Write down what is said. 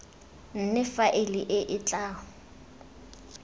nne faele e e tla